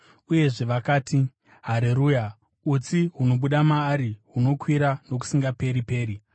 Uyezve vakadanidzira vachiti: “Hareruya! Utsi hunobuda maari hunokwira nokusingaperi-peri.”